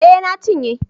Eh na cinye